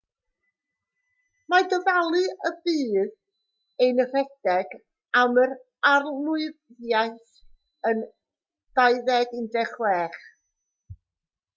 mae dyfalu y bydd e'n rhedeg am yr arlywyddiaeth yn 2016